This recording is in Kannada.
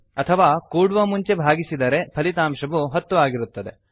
ಅಥವಾ ಕೂಡುವ ಮುಂಚೆ ಭಾಗಿಸಿದರೆ ಫಲಿತಾಂಶವು 10 ಆಗಿರುತ್ತದೆ